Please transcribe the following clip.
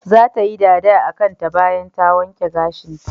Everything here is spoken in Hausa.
Zata yi dada akanta bayan ta wanke gashinta.